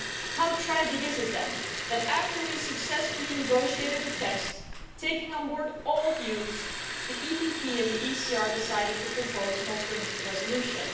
How tragic is it then that, after we had successfully negotiated a text taking on board all views, the EPP and the ECR decided to propose an alternative resolution.